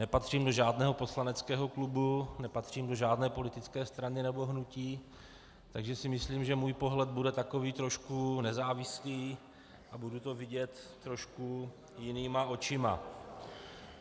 Nepatřím do žádného poslaneckého klubu, nepatřím do žádné politické strany nebo hnutí, takže si myslím, že můj pohled bude takový trošku nezávislý a budu to vidět trošku jinýma očima.